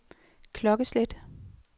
klokkeslæt